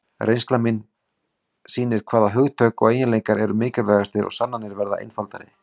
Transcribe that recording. Reynslan sýnir hvaða hugtök og eiginleikar eru mikilvægastir og sannanir verða einfaldari.